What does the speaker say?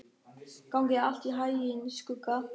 Gangi þér allt í haginn, Skugga.